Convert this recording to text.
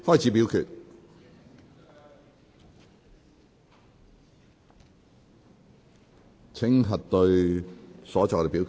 請各位議員核對所作的表決。